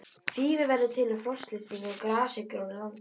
Þýfi verður til við frostlyftingu á grasigrónu landi.